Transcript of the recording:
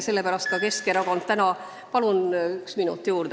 Palun ühe minuti juurde!